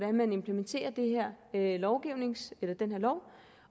man implementerer den her lov